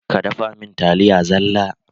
Ka dafa mun taliya zalla.!